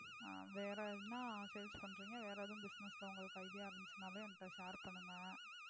வேற என Sales பண்றீங்க வேற ஏதும் Business ல உங்களுக்கு ஐடியா இருந்திச்சுன்னாலும் என்கிட்ட ஷேர் பண்ணுங்க.